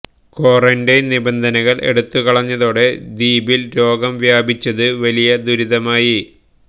quarantine നിബന്ധനകള് എടുത്തുകളഞ്ഞതോടെ ദ്വീപില് രോഗം വ്യാപിച്ചത് വലിയ ദുരിതമായി